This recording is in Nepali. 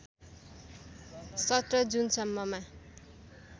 १७ जुनसम्ममा